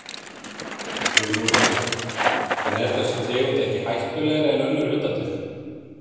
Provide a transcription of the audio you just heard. Hugrún Halldórsdóttir: En er þessi tegund ekki hættulegri en önnur hundategund?